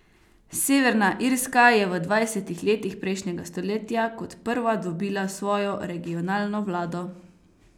Severna Irska je v dvajsetih letih prejšnjega stoletja kot prva dobila svojo regionalno vlado.